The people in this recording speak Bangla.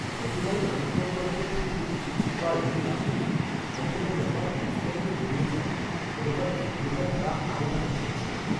যতবারই আয়কর দপ্তর থেকে কোনও চিঠি বা ইমেল আসে ততবারই আমার হৃদস্পন্দন বেড়ে যায়, মনে হয় এই বোধহয় তারা আরও টাকা চাইছে।